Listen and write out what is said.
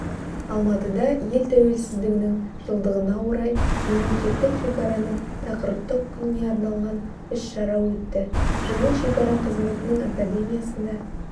алматыда ел тәуелсіздігінің жылдығына орай мемлекеттік шекараның тақырыптық күніне арналған іс-шара өтті жиын шекара қызметінің академиясында